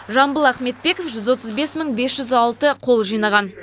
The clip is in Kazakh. жамбыл ахметбеков жүз отыз бес мың бес жүз алты қол жинаған